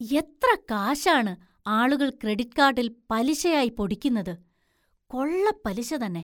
എത്ര കാശാണ് ആളുകൾ ക്രെഡിറ്റ് കാർഡിൽ പലിശയായി പൊടിക്കുന്നത്! കൊള്ളപ്പലിശ തന്നെ!